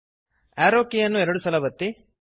ಆರೋ ಕೀಯನ್ನು ಎರಡು ಸಲ ಒತ್ತಿರಿ